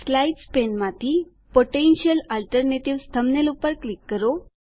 slides પેનમાંથી potential alternatives thumbnail પર click કરો